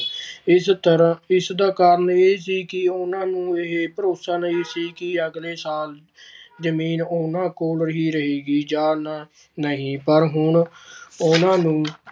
ਇਸ ਤਰ੍ਹਾਂ ਇਸ ਦਾ ਕਾਰਨ ਇਹ ਸੀ ਕਿ ਉਹਨਾਂ ਨੂੰ ਇਹ ਭਰੋਸ਼ਾ ਨਹੀਂ ਸੀ ਕਿ ਅਗਲੇ ਸਾਲ ਜ਼ਮੀਨ ਉਹਨਾਂ ਕੋਲ ਹੀ ਰਹੇਗੀ ਜਾਂ ਨਾ ਨਹੀਂ ਪਰ ਹੁਣ ਉਹਨਾਂ ਨੂੰ